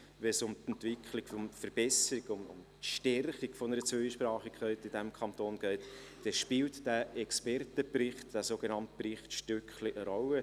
Wenn es um die Verbesserung und Stärkung der Zweisprachigkeit in diesem Kanton geht, spielt dieser Expertenbericht, der sogenannte «Bericht Stöckli» , ..eine Rolle.